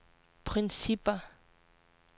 principper